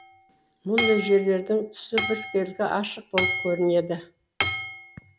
мұндай жерлердің түсі біркелкі ашық болып көрінеді